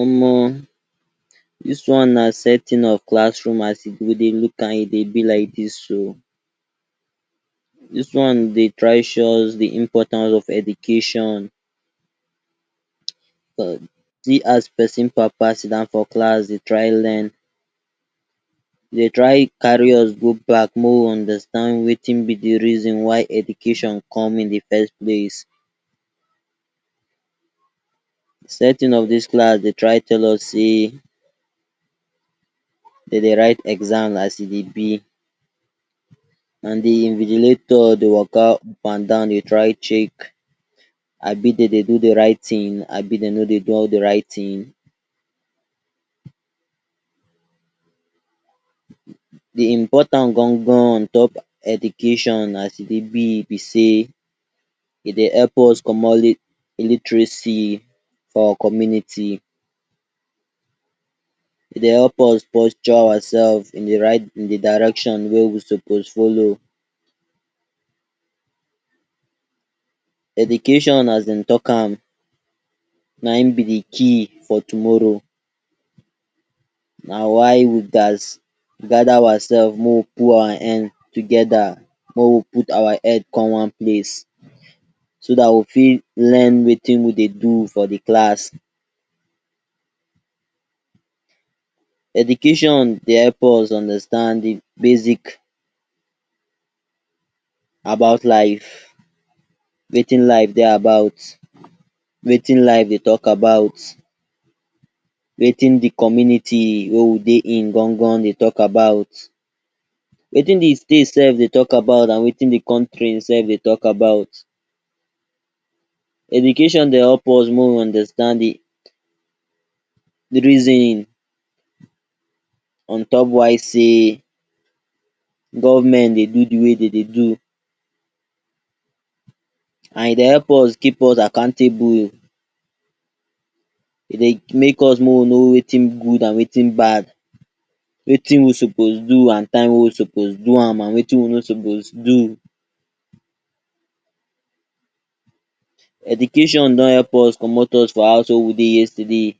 Omo dis one na setting of classroom as we go dey look e dey be like dis o, dis one dey try show us de importance of education um see as persin papa sit down for class dey try learn. Dey try carry us go back may we understand wetin be de reason why education come in de first place. Setting of dis class dey try tell us say dem de write exam as e dey be and de invigilator dey waka up and down dey try check abi dem dey do de right thing abi dem no dey do all de right thing. De important gangan on top education as e dey be be say e dey help us comot illiteracy for our community, e dey help us posture ourselves in de right in de direction wey we suppose follow. Education as dem talk am na im be de key for tomorrow, na why we just gather ourselves mo we put our hand together mo we put our head come one place so dat we fit learn wetin we dey do for de class. Education dey help us understand de basic about life wetin life dey about, wetin life dey talk about, wetin de community wey we dey in gangan dey talk about, wetin de state sef dey talk about and wetin de country sef dey talk about. Education dey help us make we understand de de reason on top why say government dey do de way dem dey do and it dey help us keep us accountable e dey make us mo we know wetin good and wetin bad wetin we suppose do and time we suppose do am and wetin we no suppose do. Education don help us comot us for house wey we dey yesterday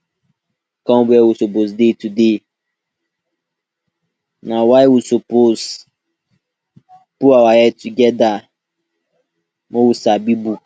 come where we suppose dey today. Na why we suppose put our head together mo we sabi book.